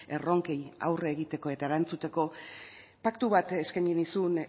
erronkei aurre egiteko eta erantzuteko paktu bat eskaini nizun